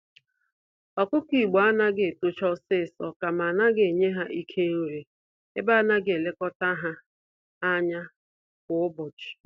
Ọkụkọ Igbo anaghị etocha ọsịsọ, kama anaghị enye ha Ike nri, ebe anaghị elekọta ha ányá kwa ụbọchị.